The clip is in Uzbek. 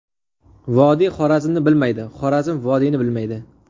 Vodiy Xorazmni bilmaydi, Xorazm vodiyni bilmaydi.